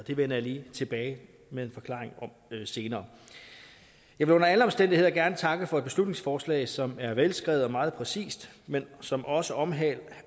det vender jeg lige tilbage med en forklaring om senere jeg vil under alle omstændigheder gerne takke for et beslutningsforslag som er velskrevet og meget præcist men som også omhandler